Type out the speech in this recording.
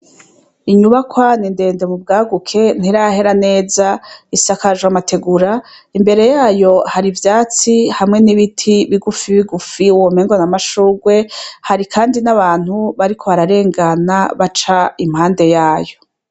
Inyubakwa n'indende mu bwaguke ntirahera neza ,isakaje amategura imbere yayo hari ivyatsi hamwe n'ibiti bigufi bigufi ,womengo n'amashungwe, hari kandi n'abantu bariko bararengana baca impande yayo.